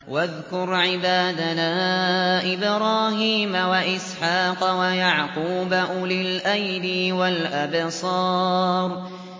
وَاذْكُرْ عِبَادَنَا إِبْرَاهِيمَ وَإِسْحَاقَ وَيَعْقُوبَ أُولِي الْأَيْدِي وَالْأَبْصَارِ